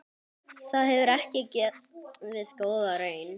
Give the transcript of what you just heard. Það gefur ekki góða raun.